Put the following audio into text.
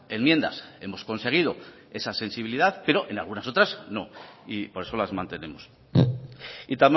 enmiendas hemos conseguido esa sensibilidad pero en algunas otras no y por eso las mantenemos y